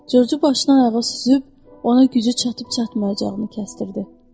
Corc başdan ayağa süzüb, ona gücü çatıb-çatmayacağını kəstirdi.